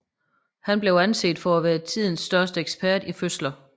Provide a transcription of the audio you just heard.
Han blev anset for at være tidens største ekspert i fødsler